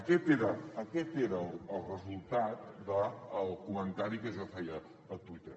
aquest era el resultat del comentari que jo feia a twitter